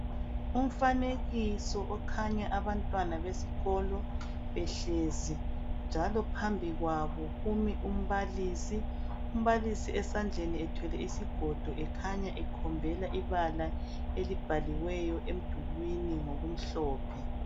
Umfanekiso okhanya abantwana besikolo behlezi, njalo phambi kwabo kumi umbalisi. Umbalisi esandleni ethwele isigodo ekhanya ekhombela ibala elibhaliweyo emdulini ngokumhlophe